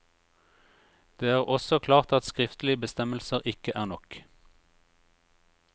Det er også klart at skriftlige bestemmelser ikke er nok.